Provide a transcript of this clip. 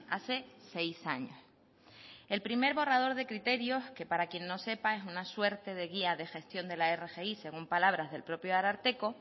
hace seis años el primer borrador de criterios que para quien no sepa es una suerte de guía de gestión de la rgi según palabras del propio ararteko